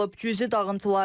Cüzi dağıntılar var.